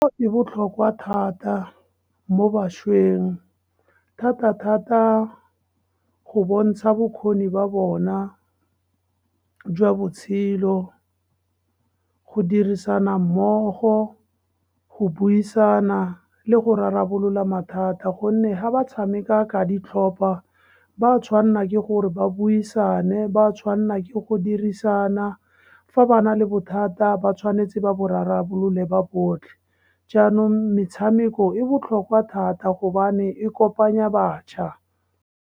E botlhokwa thata mo bašweng, thata-thata go bontsha bokgoni ba bona jwa botshelo, go dirisana mmogo, go buisana le go rarabolola mathata, gonne ga ba tshameka ka ditlhopa ba tshwanna ke gore ba buisane, ba tshwanna ke go dirisana. Fa ba na le bothata, ba tshwanetse ba borarabolole ba botlhe, jaanong metshameko e botlhokwa thata gobane e kopanya batjha.